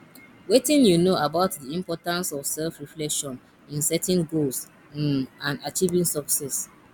wetin you know about di importance of selfreflection in setting goals um and achieving success